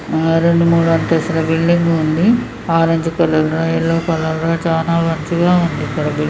ఆ రెండు మూడు అంతస్తుల బిల్డింగ్ ఉంది. ఆరెంజ్ కలర్ లో ఎల్లో కలర్ లో లో చన మంచిగా ఉంది. ఇక్కడ బిల్డింగ్ --